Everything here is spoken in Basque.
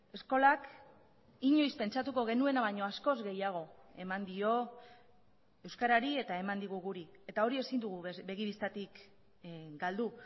eskolak inoiz pentsatuko genuena baino askoz gehiago eman dio euskarari eta eman digu guri eta hori ezin dugu begi bistatik galdu